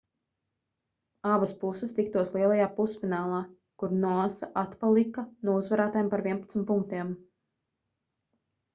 abas puses tiktos lielajā pusfinālā kur noosa atpalika no uzvarētājiem par 11 punktiem